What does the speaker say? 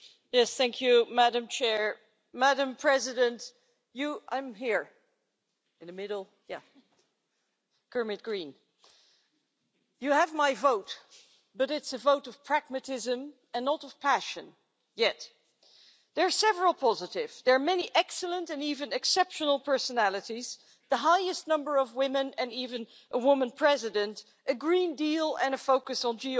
Madam President, I would like to say to the President elect that she has my vote, but it's a vote of pragmatism and not of passion yet. There are several positives there are many excellent and even exceptional personalities, the highest number of women and even a woman President, a Green Deal, and a focus on geopolitics.